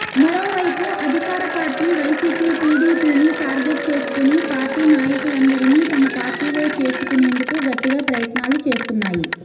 మరోవైపు అధికార party Y C P టిడిపిని టార్గెట్ చేసుకుని పార్టీ నాయకులందరినీ తమ పార్టీలో చేర్చుకునేందుకు గట్టిగా ప్రయత్నాలు చేస్తున్నాయి